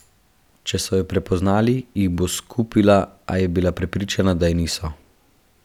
Če so jo prepoznali, jih bo skupila, a bila je prepričana, da je niso.